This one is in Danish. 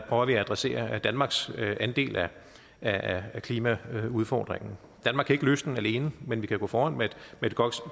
at adressere danmarks andel af af klimaudfordringen danmark kan ikke løse den alene men vi kan gå foran med et